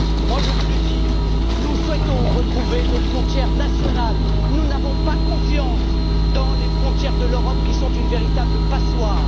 Alors, je vous le dis, nous souhaitons retrouver nos frontières nationales. Nous n'avons pas confiance dans les frontières de l'Europe, qui sont une véritable passoire.